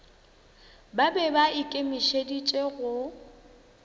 ba be ba ikemišeditše go